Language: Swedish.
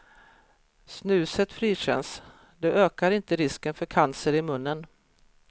Snuset frikänns, det ökar inte risken för cancer i munnen.